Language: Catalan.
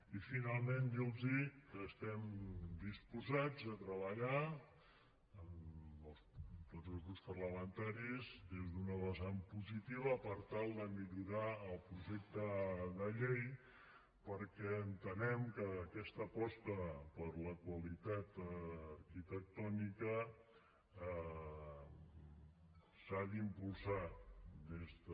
i finalment dir los que estem disposats a treballar amb tots els grups parlamentaris des d’una vessant positiva per tal de millorar el projecte de llei perquè entenem que aquesta aposta per la qualitat arquitectònica s’ha d’impulsar des de